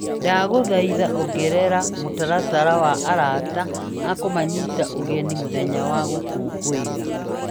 Ndagũthaitha ongerera mũtaratara wa arata a kũmanyita ũgeni mũthenya wa gũkũngũira .